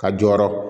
Ka jɔyɔrɔ